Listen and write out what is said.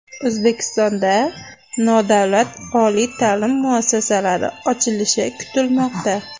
O‘zbekistonda nodavlat oliy ta’lim muassasalari ochilishi kutilmoqda.